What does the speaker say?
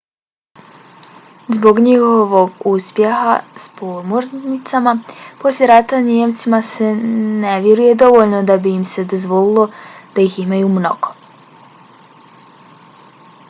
zbog njihovog uspeha s podmornicama posle rata nijemcima se ne vjeruje dovoljno da bi im se dozvolilo da ih imaju mnogo